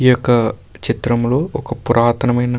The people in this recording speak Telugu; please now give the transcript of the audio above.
ఈ యొక్క చిత్రములో ఒక పురాతనమైన --